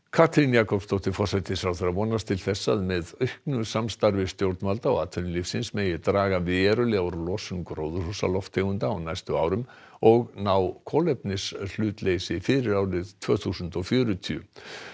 Katrín Jakobsdóttir forsætisráðherra vonast til þess að með auknu samstarfi stjórnvalda og atvinnulífsins megi draga verulega úr losun gróðurhúsalofttegunda á næstu árum og ná kolefnishlutleysi fyrir árið tvö þúsund og fjörutíu